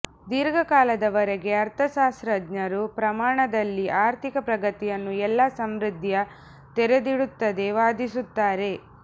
ದೀರ್ಘಕಾಲದವರೆಗೆ ಅರ್ಥಶಾಸ್ತ್ರಜ್ಞರು ಪ್ರಮಾಣದಲ್ಲಿ ಆರ್ಥಿಕ ಪ್ರಗತಿಯನ್ನು ಎಲ್ಲಾ ಸಮೃದ್ಧಿಯ ತೆರೆದಿಡುತ್ತದೆ ವಾದಿಸುತ್ತಾರೆ